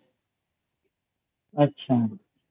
আচ্ছা